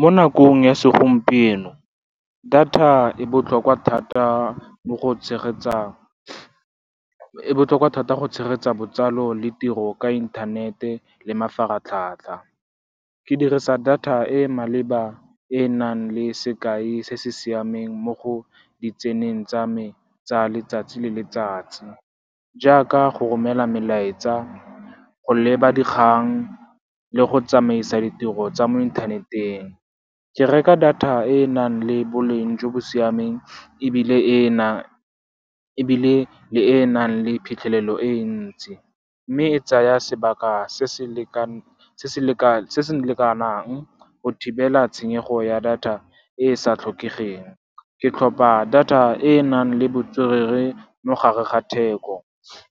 Mo nakong ya segompieno, data e botlhokwa thata go tshegetsa botsalo le tiro ka inthanete le mafaratlhatlha. Ke dirisa data e e maleba e e nang le sekai se se siameng mo go di tseneng tsa me tsa letsatsi le letsatsi, jaaka go romela melaetsa, go leba dikgang le go tsamaisa ditiro tsa mo inthaneteng. Ke reka data e e nang le boleng jo bo siameng ebile le e nang le phitlhelelo e e ntsi, mme e tsaya sebaka se se lekanang go thibela tshenyego ya data e e sa tlhokegeng. Ke tlhopa data e e nang le botswerere mo gare ga theko,